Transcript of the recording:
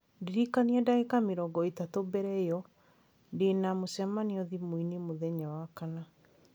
Ndĩrikania ndagĩka mĩrongo ĩtatũ mbere ĩyo, ndĩ na mĩcemanio thimũ-inĩ mũthenya wa Wakana.